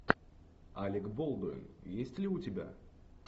алек болдуин есть ли у тебя